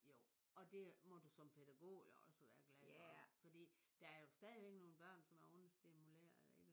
Jo. Og det må du som pædagog jo også være glad for fordi der er jo stadigvæk nogle børn som er understimulerede ikke?